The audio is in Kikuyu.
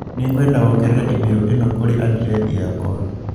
Nĩngwenda wongerere i-mīrū ĩno kũrĩ andirethi yakwa